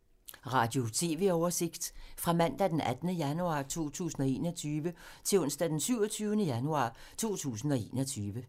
Radio/TV oversigt fra mandag d. 18. januar 2021 til onsdag d. 27. januar 2021